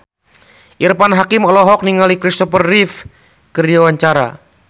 Irfan Hakim olohok ningali Kristopher Reeve keur diwawancara